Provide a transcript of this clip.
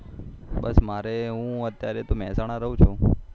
બસ મારે હું અત્યારે તો મેહસાણા રહું છુ